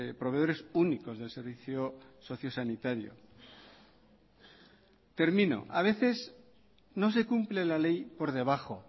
proveedores únicos del servicios socio sanitario termino a veces no se cumple la ley por debajo